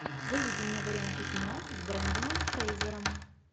выведи мне варианты кино с брендоном фрейзером